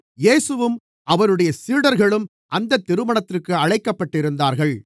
இயேசுவும் அவருடைய சீடர்களும் அந்த திருமணத்திற்கு அழைக்கப்பட்டிருந்தார்கள்